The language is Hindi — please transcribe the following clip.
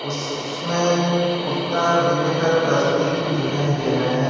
इसमें कुत्ता और बिल्ली का तस्वीर दिखाई दे रहा है।